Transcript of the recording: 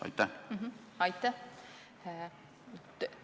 Aitäh!